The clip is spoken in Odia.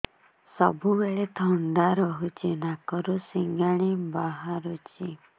ସବୁବେଳେ ଥଣ୍ଡା ରହୁଛି ନାକରୁ ସିଙ୍ଗାଣି ବାହାରୁଚି